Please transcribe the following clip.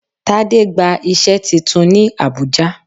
Tade gba iṣẹ́ titun ní Abùjá.